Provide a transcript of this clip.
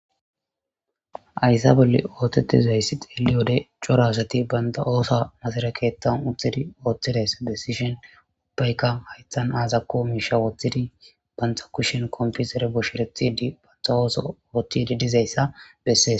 Hayssa bolli oothetizayssi xeeliyode cora asati banta oothuwa masira keethan uttidayssa oothidayssa besishin ubbayka hayththan azako miisha wothidi banta kushen compitere bosherethiidi banta ootho oothidi dizayssa besees.